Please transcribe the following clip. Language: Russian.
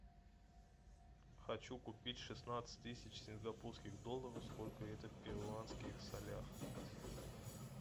хочу купить шестнадцать тысяч сингапурских долларов сколько это в перуанских солях